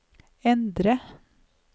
endre